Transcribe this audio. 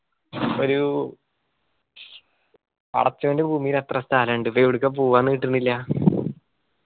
ഒരു പടച്ചവന്റ ഭൂമിയില് എത്ര സ്ഥലിണ്ട് ഇപ്പൊ എവിടുക്ക പോവാന്ന് കിട്ടണില്ലാ?